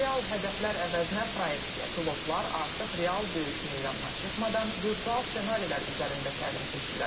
Real hədəflər əvəzinə proyeksia, pilotlar artıq real döyüş meydanına çıxmadan virtual ssenarilər üzərində təlim keçirlər.